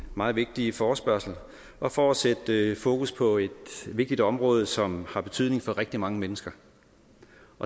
meget vigtige forespørgsel og for at sætte fokus på et vigtigt område som har betydning for rigtig mange mennesker